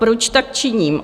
Proč tak činím?